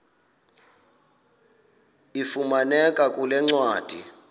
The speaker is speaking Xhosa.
ifumaneka kule ncwadi